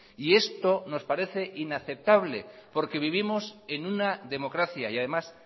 y esto nos parece inaceptable porque vivimos en una democracia y además